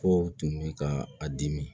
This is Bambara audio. Kow tun bɛ ka a dimi